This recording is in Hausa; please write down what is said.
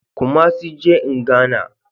Kumasi je in Ghana